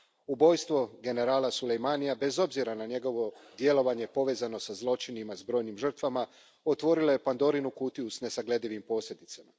Ubojstvo generala Soleimanija, bez obzira na njegovo djelovanje povezano sa zločinima s brojnim žrtvama, otvorilo je Pandorinu kutiju s nesagledivim posljedicama.